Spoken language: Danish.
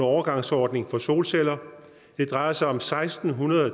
overgangsordning for solceller det drejer sig om seksten